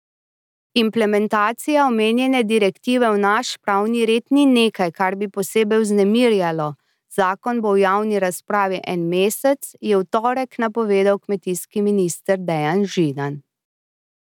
Implementacija omenjene direktive v naš pravni red ni nekaj, kar bi posebej vznemirjalo, zakon bo v javni razpravi en mesec, je v torek napovedal kmetijski minister Dejan Židan.